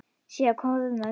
Sé að koðna niður.